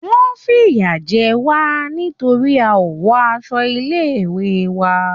Wọ́n fìyà jẹ wá nítorí a ò wọ aṣọ ilé-ìwé wa.